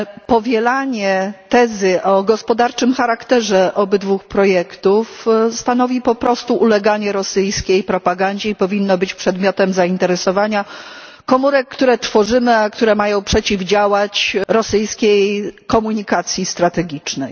Powielanie tezy o gospodarczym charakterze obydwu projektów stanowi po prostu uleganie rosyjskiej propagandzie i powinno być przedmiotem zainteresowania komórek, które tworzymy, a które mają przeciwdziałać rosyjskiej komunikacji strategicznej.